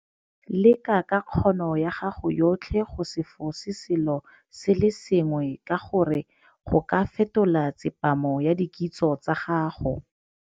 Leka ka kgono ya gago yotlhe go se fose selo se le sengwe ka gore go ka fetola tsepamo ya dikitso tsa gago.